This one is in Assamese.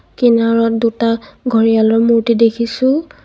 কিনাৰত দুটা ঘৰিয়ালৰ মূৰ্তি দেখিছোঁ.